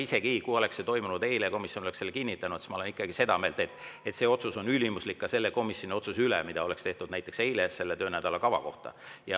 Isegi kui see oleks eile toimunud ja komisjon oleks selle kinnitanud, siis olen ma ikkagi seda meelt, et see otsus on ülimuslik ka selle komisjoni otsuse üle, mida oleks tehtud näiteks eile töönädala kava kohta.